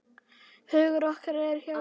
Hugur okkar eru hjá ykkur.